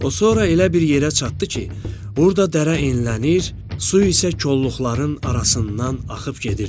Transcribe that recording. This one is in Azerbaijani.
O sonra elə bir yerə çatdı ki, burda dərə enlilənir, su isə kolluqların arasından axıb gedirdi.